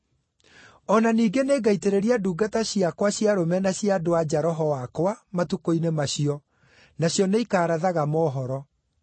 O na ningĩ nĩngaitĩrĩria ndungata ciakwa cia arũme na cia andũ-a-nja Roho wakwa matukũ-inĩ macio, nacio nĩikarathaga mohoro.